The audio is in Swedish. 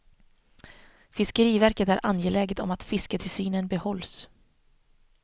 Fiskeriverket är angeläget om att fisketillsynen behålls.